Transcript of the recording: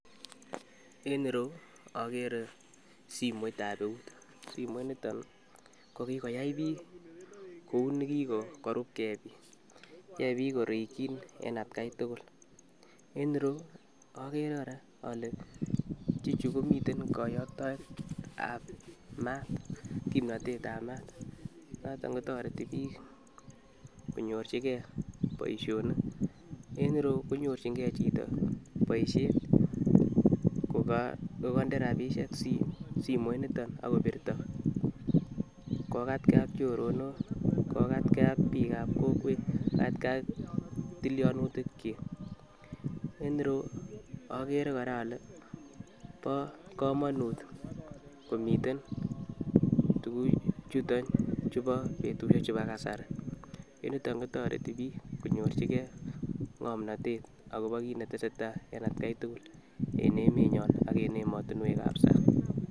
En ireyuu okere simoit ab eut simoit niton kokikoyai bik kou nekikorub gee, yoe bik korikin en atgai tukul en ireyuu okere koraa ole bichu komiten koyoktoe ab maat kipnotet ab maat noton kotoreti bik konyorchi gee boishonik, en iroyuu konyorchin gee chito boishet kokoinde rabishek simoit niton ak kobirto kokatgee ak choronok, kokatgee ak bik ab kokwet kokatgee ak tilyonutik chik en ireyuu koraa okere ole bo komonut komiiten tukukul chuton chubo betushek chubo kasari en yutok kotoreti bik konyorchi gee ngomnotet akobo kit netesetai en atgai tukul en emenyon ak en emotinwek ab sang.